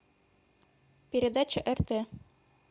передача рт